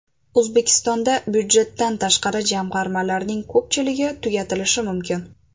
O‘zbekistonda budjetdan tashqari jamg‘armalarning ko‘pchiligi tugatilishi mumkin.